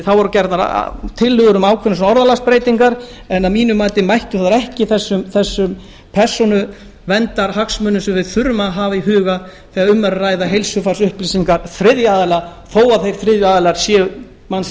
þá voru gerðar tillögur um ákveðnar orðalagsbreytingar en að mínu mati mættu þær ekki þessum persónuverndarhagsmunum sem við þurfum að hafa í huga þegar um er að ræða heilsufarsupplýsingar þriðja aðila þó að þeir þriðju aðilar séu manns